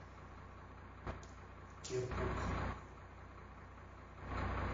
киркук